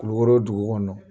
Kulukoro dugu kɔnɔ.